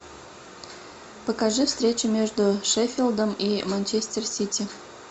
покажи встречу между шеффилдом и манчестер сити